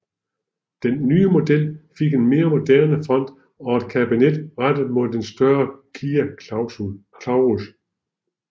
Den nye model fik en mere moderne front og en kabine rettet mod den større Kia Clarus